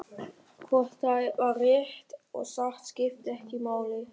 Eitthvað er að brjótast um í höfðinu á honum.